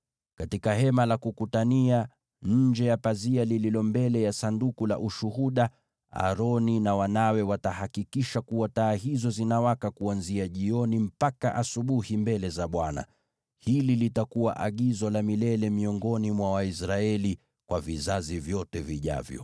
Katika Hema la Kukutania, nje ya pazia lililo mbele ya Sanduku la Ushuhuda, Aroni na wanawe watahakikisha kuwa taa hizo zinawaka kuanzia jioni mpaka asubuhi mbele za Bwana . Hili litakuwa agizo la milele miongoni mwa Waisraeli kwa vizazi vyote vijavyo.